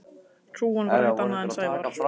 Hrúgan var ekkert annað en Sævar.